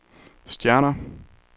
stjerner